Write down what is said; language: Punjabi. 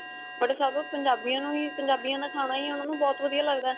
but ਸਭ ਪੰਜਾਬੀਆ ਨੂੰ ਹੀ ਪੰਜਾਬੀਆ ਦਾ ਖਾਣਾ ਹੀ ਉਨ੍ਹਾਂ ਨੂੰ ਬਹੁਤ ਵਧੀਆ ਲੱਗਦਾ